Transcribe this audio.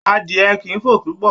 Adìẹ kìí fò púpọ̀